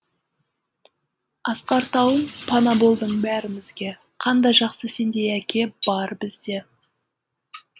асқар тауым пана болдың бәрімізге қандай жақсы сендей әке бары бізде